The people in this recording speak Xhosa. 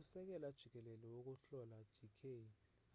usekela jikelele wokuhlola d k